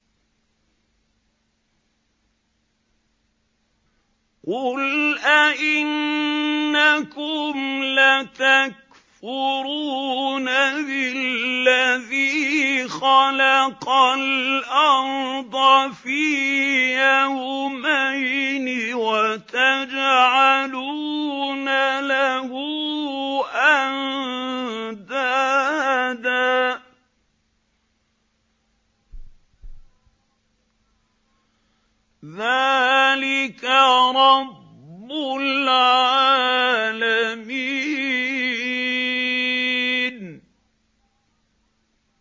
۞ قُلْ أَئِنَّكُمْ لَتَكْفُرُونَ بِالَّذِي خَلَقَ الْأَرْضَ فِي يَوْمَيْنِ وَتَجْعَلُونَ لَهُ أَندَادًا ۚ ذَٰلِكَ رَبُّ الْعَالَمِينَ